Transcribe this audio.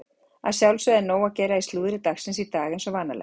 Að sjálfsögðu er nóg að gera í slúðri dagsins í dag eins og vanalega.